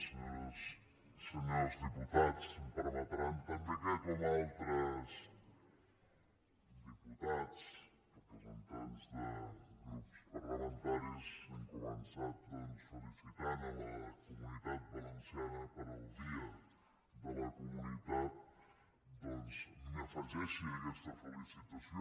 senyores i senyors diputats em permetran també que com altres diputats representants de grups parlamentaris han començat doncs felicitant la comunitat valenciana pel dia de la comunitat doncs m’afegeixi a aquesta felicitació